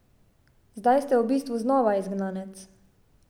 Zdaj ste v bistvu znova izgnanec.